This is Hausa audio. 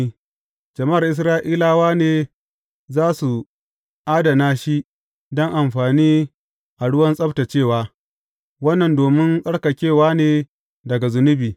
Jama’ar Isra’ilawa ne za su adana shi don amfani a ruwan tsabtaccewa; wannan domin tsarkakewa ne daga zunubi.